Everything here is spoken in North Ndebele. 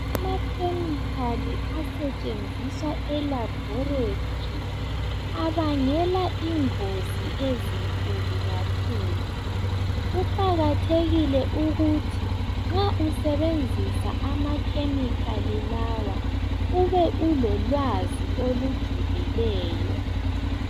Amakhemikhali asetshenziswa elabhorethi abangela ingozi ezinkulu kakhulu. Kuqakathekile ukuthi nxa usebenzisa amakhemikhali lawa ube ulolwazi olujulileyo.